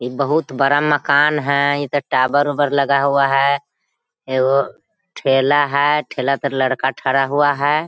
एक बहुत बड़ा मकान है इ त टॉवर उवर लगा हुआ है एगो ठेला है ठेला पर लड़का ठड़ा हुआ है।